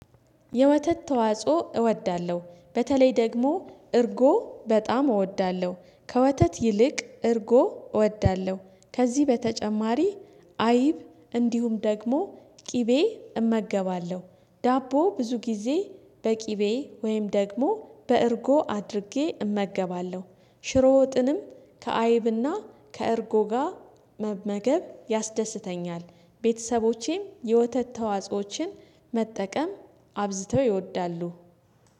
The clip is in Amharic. የወተት ተዋጽኦ እወዳለሁ በተለይ ደግሞ እርጎ በጣም እወዳለሁ ከወተት ይልቅ እርጎ እወዳለሁ ከዚህ በተጨማሪ አይብ እንዲሁም ደግሞ ቅቤ እመገባለሁ። ዳቦ ብዙ ጊዜ በቂቤ ወይም ደግሞ በእርጎ አድርጌ እመገባለሁ። ሽሮ ወጥንም ከአይብና ከእርጎ ጋር መመገብ ያስደስተኛል። ቤተሰቦቼ የወተት ተዋጾዎችን መጠቀም አብዝተው ይወዳሉ።